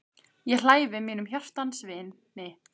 Ég hlæ við mínum hjartans vini.